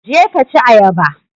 Je ka ci ayaba!